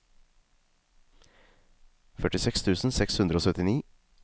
førtiseks tusen seks hundre og syttini